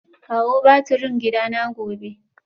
Kawo batirin gidana gobe